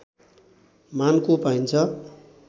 मानको पाइन्छ